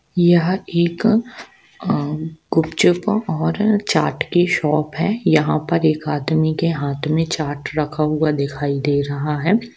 यह एक गुपचुप और चाट की शॉप है यहाँ पर एक आदमी के हाथ मे चाट रखा हुआ दिखाई दे रहा है।